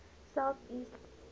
south east england